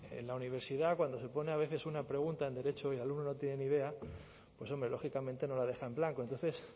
en la universidad cuando se pone a veces una pregunta en derecho y el alumno no tiene ni idea pues hombre lógicamente no la deja en blanco entonces